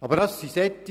Aber dies sind